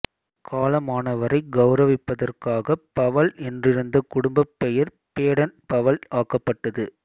காலமானவரைக் கௌரவிப்பதற்காகப் பவல் என்றிருந்த குடும்பப் பெயர் பேடன் பவல் ஆக்கப்பட்டது